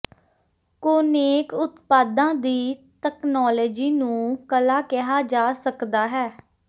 ਕੌਨੇਕ ਉਤਪਾਦਾਂ ਦੀ ਤਕਨਾਲੋਜੀ ਨੂੰ ਕਲਾ ਕਿਹਾ ਜਾ ਸਕਦਾ ਹੈ